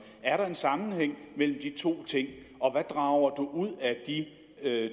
er der en sammenhæng mellem de to ting og hvad drager ud af de